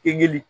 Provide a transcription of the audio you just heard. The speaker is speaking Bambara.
Eli